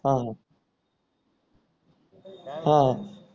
हा हा हा